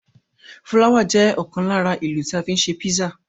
Fúláwà jẹ́ ọ̀kan lára èlò tí a fi ń ṣe písà.